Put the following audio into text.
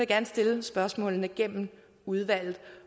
gerne stille spørgsmålene gennem udvalget